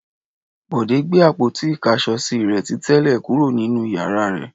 Bọ̀dé gbé àpótí-ìkáṣọsí rẹ̀ ti tẹ́lẹ̀ kúrò nínú ìyàrá rẹ̀.